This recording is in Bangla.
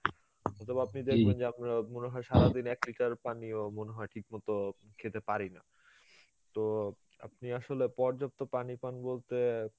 অথবা আপনি দেখবেন যে আমরা মনে হয় সারাদিন এক liter পানিও মনেহয় ঠিক মতো খেতে পারিনা, তো আপনি আসলে পর্যাপ্ত পানি পান বলতে